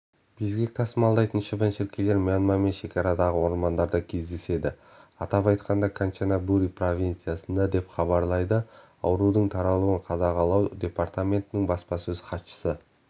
безгек тасымалдайтын шыбын-шіркейлер мьянмамен шекарадағы ормандарда кездеседі атап айтқанда канчанабури провинциясында деп хабарлады аурудың таралуын қадағалау департаментінің баспасөз хатшысы